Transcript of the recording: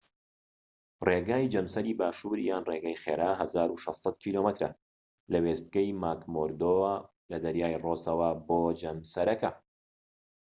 ڕێگای جەمسەری باشوور یان ڕێگای خێرا 1600 کیلۆمەترە لە وێستگەی ماکمۆردۆ وە لە دەریای ڕۆسەوە بۆ جەمسەرەکە